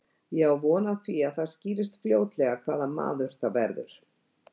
Ég á von á því að það skýrist fljótlega hvaða maður það verður.